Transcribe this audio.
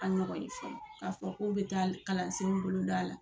An ɲɔgɔn ye fɔlɔ k'a fɔ k'o bɛ taa kalansenw boloda a la